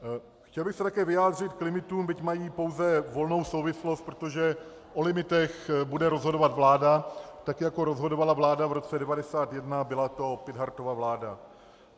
Chtěl bych se také vyjádřit k limitům, byť mají pouze volnou souvislost, protože o limitech bude rozhodovat vláda, tak jako rozhodovala vláda v roce 1991, byla to Pithartova vláda.